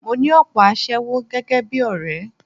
Mo ní òpò aṣẹ́wó gẹ́gẹ́ bí ọ̀rẹ́.